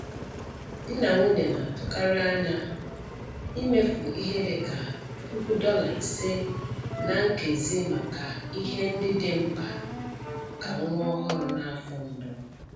Di na nwunye na-atụkarị anya imefu ihe dị ka puku dollar ise ($5,000) ná nkezi maka ihe ndị dị mkpa maka nwa ọhụrụ n'afọ mbụ.